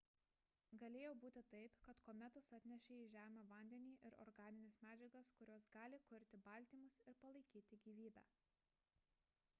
galėjo būti taip kad kometos atnešė į žemę vandenį ir organines medžiagas kurios gali kurti baltymus ir palaikyti gyvybę